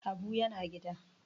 Habu yana gida